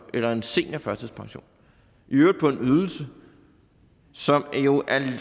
eller en seniorførtidspension i øvrigt på en ydelse som jo